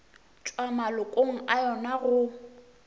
tšwa malokong a yona go